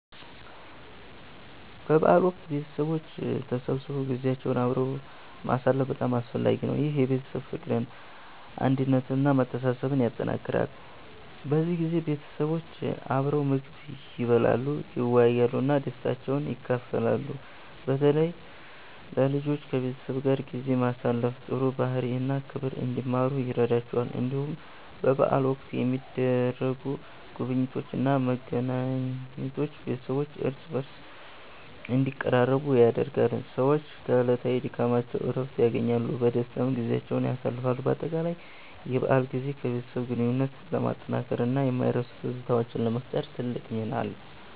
በበዓል ወቅት ቤተሰቦች ተሰብስበው ጊዜያቸውን አብረው ማሳለፍ በጣም አስፈላጊ ነው። ይህ የቤተሰብ ፍቅርን፣ አንድነትን እና መተሳሰብን ያጠናክራል። በዚህ ጊዜ ቤተሰቦች አብረው ምግብ ይበላሉ፣ ይወያያሉ እና ደስታቸውን ይካፈላሉ። በተለይ ለልጆች ከቤተሰብ ጋር ጊዜ ማሳለፍ ጥሩ ባህሪ እና ክብር እንዲማሩ ይረዳቸዋል። እንዲሁም በበዓል ወቅት የሚደረጉ ጉብኝቶች እና መገናኘቶች ቤተሰቦች እርስ በርስ እንዲቀራረቡ ያደርጋሉ። ሰዎች ከዕለታዊ ድካማቸው እረፍት ያገኛሉ፣ በደስታም ጊዜያቸውን ያሳልፋሉ። በአጠቃላይ የበዓል ጊዜ የቤተሰብ ግንኙነትን ለማጠናከር እና የማይረሱ ትዝታዎችን ለመፍጠር ትልቅ ሚና አለው።